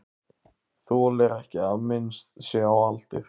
Þolir ekki að minnst sé á aldur.